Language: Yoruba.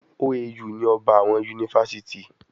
OAU ni ọba àwọn yunifásítì.